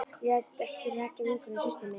Ég læt ekki hrekkja vinkonu systur minnar.